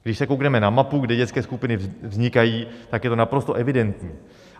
Když se koukneme na mapu, kde dětské skupiny vznikají, tak je to naprosto evidentní.